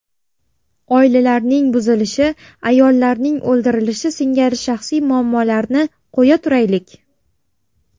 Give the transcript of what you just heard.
Oilalarning buzilishi, ayollarning o‘ldirilishi singari shaxsiy muammolarni qo‘ya turaylik.